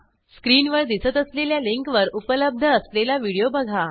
स्क्रीनवर दिसत असलेल्या लिंकवर उपलब्ध असलेला व्हिडिओ बघा